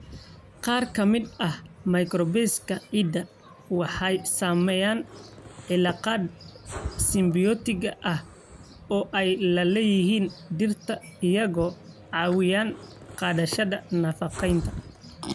Qaar ka mid ah microbes-ka ciidda waxay sameeyaan cilaaqaad simibiyootig ah oo ay la leeyihiin dhirta, iyagoo caawinaya qaadashada nafaqeynta.